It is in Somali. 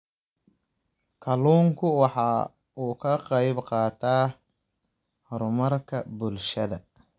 Kalluunku waxa uu ka qayb qaataa horumarka bulshada.